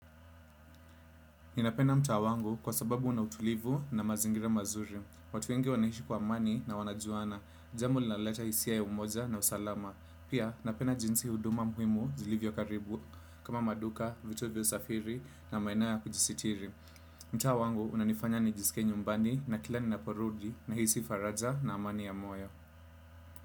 Ninapenda mtaa wangu kwa sababu unautulivu na mazingira mazuri. Watu wengi wanaishi kwa amani na wanajuana. Jambo linaloleta hisia ya umoja na usalama. Pia napenda jinsi huduma muhimu zilivyo karibu. Kama maduka, vituo vya usafiri na maeneo ya kujisitiri. Mtaa wangu unanifanya nijisike nyumbani na kila nina porudi na hisi faraja na amani ya moyo.